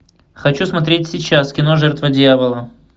хочу смотреть сейчас кино жертва дьявола